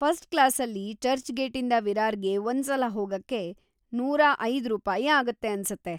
First ಕ್ಲಾಸಲ್ಲಿ ಚರ್ಚ್‌ಗೇಟಿಂದ ವಿರಾರ್‌ಗೆ ಒಂದ್ಸಲ ಹೋಗಕ್ಕೆ ನೂರ ಐದ ರೂಪಾಯಿ ಆಗತ್ತೆ ಅನ್ಸತ್ತೆ.